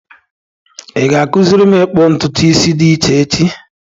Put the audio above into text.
Ị ga-akụziri m ikpu ntutu isi dị iche, echi?